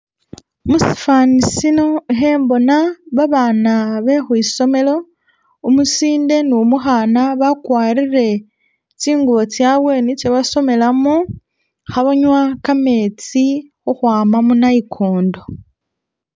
Musifanisino ikhembona abana bekhwisomelo, umusinde nu'mukhana bakwarile tsingubo tsawe nitso basomelamo khabanywa kametsi khukhwama munayikondo